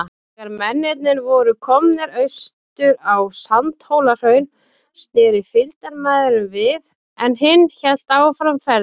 Þegar mennirnir voru komnir austur á Sandhólahraun, sneri fylgdarmaðurinn við, en hinn hélt áfram ferðinni.